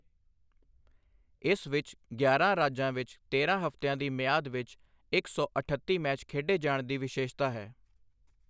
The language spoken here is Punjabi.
ਇਸ ਵਿੱਚ ਗਿਆਰਾਂ ਰਾਜਾਂ ਵਿੱਚ ਤੇਰਾਂ ਹਫ਼ਤਿਆਂ ਦੀ ਮਿਆਦ ਵਿੱਚ ਇੱਕ ਸੌ ਅਠੱਤੀ ਮੈਚ ਖੇਡੇ ਜਾਣ ਦੀ ਵਿਸ਼ੇਸ਼ਤਾ ਹੈ।